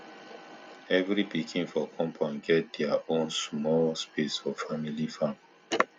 every pikin for compound get there there own small space for family farm